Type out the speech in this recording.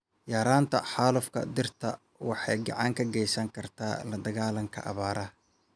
Yaraynta xaalufka dhirta waxay gacan ka geysan kartaa la dagaalanka abaaraha.